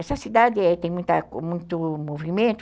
Essa cidade tem muito movimento?